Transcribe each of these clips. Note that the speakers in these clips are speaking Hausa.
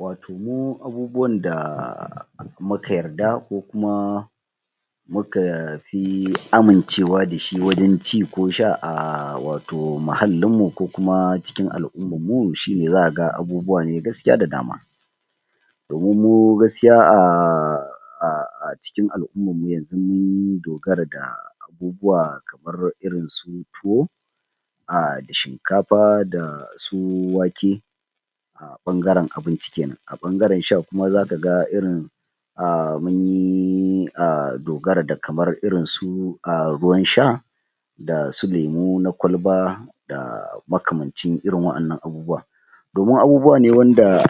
wato mu abubuwan da muka yarda ko kuma mu ka pi amincewa dashi wajen ci ko sha a wato muhallinmu ko kuma cikin al'uman mu shine zaka ga abubuwa ne gaskiya da dama domin mu gaskia a cikin al'uman mu yanzu mun dogara da abubuwa kamar irin su tuwo da shinkapa da su wake a ɓangaren abinci kenan a ɓangaren sha kuma zaka ga irin munyi dogara da kamar irin su ruwan sha dasu lemu na kwalba da makamancin irin wa'annan abubuwa domin abubuwa ne wanda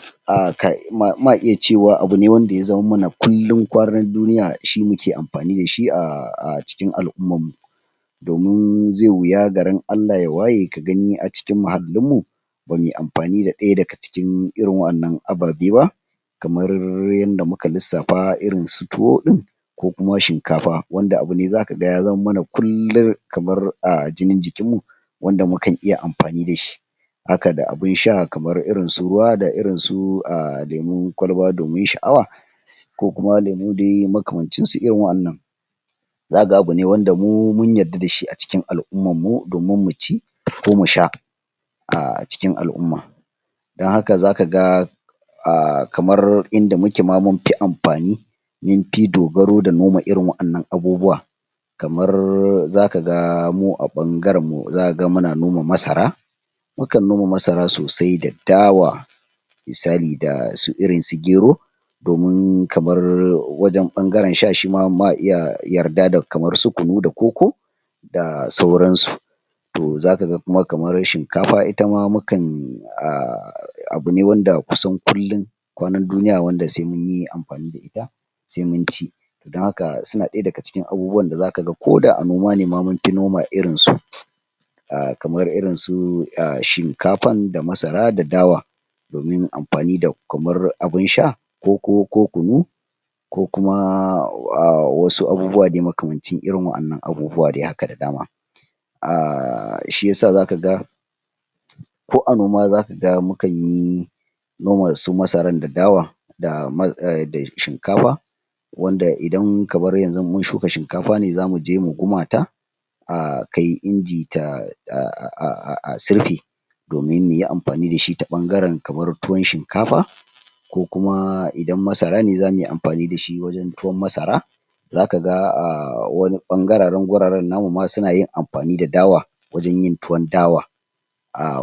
ma iya cewa abu ne wanda ya zama mana kullun kwanan duniya shi muke ampani dashi a cikin al'uman mu domin zai wuya garin Allah ya waye ka gani a cikin muhallin mu bamuyi ampani da ɗaya daga cikin irin wa'annan ababe ba kamar yadda muka lissafa irin su tuwo din ko kuma shinkapa wanda abu ne zaka ga ya zama mana kullun kamar jinin jikinmu wanda mukan iya ampani dashi haka da abin sha kamar irin su ruwa da irin su lemun kwalba domin sha'awa ko kuma lemu dai makamancinsu irin wa'annan zaka ga abu ne wanda mu mun yarda dashi a cikin al'uman mu domin mu ci ko mu sha a cikin al'umma don haka zaka ga a kamar inda muke ma mun pi ampani mun pi dogaro da noma irin wa'annan abubuwa kamar zaka ga mu a ɓangaren mu zaka ga muna noma masara mu kan noma masara sosai da dawa misali dasu irin su gero domin kamar wajen ɓangaren sha shima ma iya yarda da kamar su kunu da koko da sauransu to zaka ga kuma kamar shinkapa ita ma mu kan abu ne wanda kusan kullun kwanan duniya wanda sai munyi ampani da ita sai mun ci don haka suna ɗaya daga cikin abubuwan da zaka ga ko da a noma nema mun pi noma irinsu kamar irin su shinkapan da masara da dawa domin ampani da kamar abin sha koko ko kunu ko kuma wasu abubuwa dai makamancin irin wa'annan abubuwa dai haka da dama? shiyasa zaka ga? ko a noma zaka ga mu kanyi noma su masaran da dawa da shinkapa wanda kamar idan yanxu mun shuka shinkapa ne zamu je mu guma ta a kai inji a sirpe domin muyi ampani dashi ta ɓangaren kamar tuwan shinkapa ko kuma idan masara ne zamu iya ampani dashi wajen tuwan masara zaka ga a wani ɓangararen guraren namu ma suna yin ampani da dawa wajen yin tuwon dawa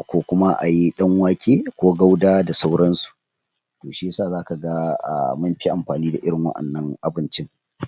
ko kuma ayi ɗan wake ko gauda da sauransu to shiyasa zaka ga mun pi ampani da irin wa'annan abincin?